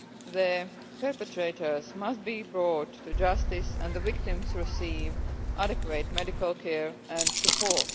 The perpetrators must be brought to justice and the victims must receive adequate medical care and support.